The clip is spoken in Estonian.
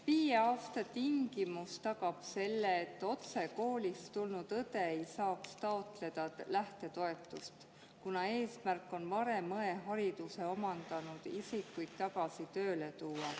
Viie aasta tingimus tagab selle, et otse koolist tulnud õde ei saaks taotleda lähtetoetust, kuna eesmärk on varem õehariduse omandanud isikuid tagasi tööle tuua.